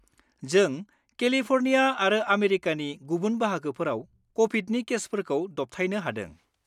जों केलिफ'र्निया आरो आमेरिकानि गुबुन बाहागोफोराव क'भिडनि केसफोरखौ दबथायनो हादों।